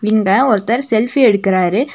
இங்க ஒருத்தர் செல்ஃபி எடுக்கறாரு.